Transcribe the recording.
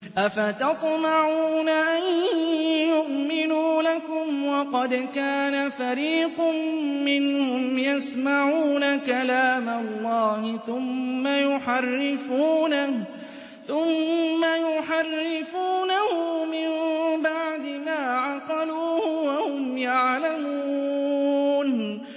۞ أَفَتَطْمَعُونَ أَن يُؤْمِنُوا لَكُمْ وَقَدْ كَانَ فَرِيقٌ مِّنْهُمْ يَسْمَعُونَ كَلَامَ اللَّهِ ثُمَّ يُحَرِّفُونَهُ مِن بَعْدِ مَا عَقَلُوهُ وَهُمْ يَعْلَمُونَ